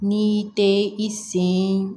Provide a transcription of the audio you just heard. N'i tɛ i sen